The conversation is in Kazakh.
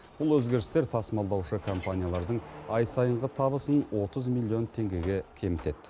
бұл өзгерістер тасымалдаушы компаниялардың ай сайынғы табысын отыз миллион теңгеге кемітеді